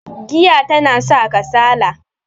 giya tana sa kasala